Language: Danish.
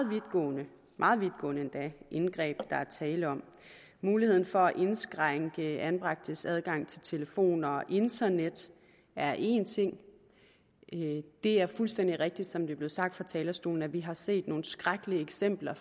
vidtgående meget vidtgående endda indgreb der er tale om muligheden for at indskrænke anbragtes adgang til telefoner og internet er én ting det er fuldstændig rigtigt som det er blevet sagt fra talerstolen at vi har set nogle skrækkelige eksempler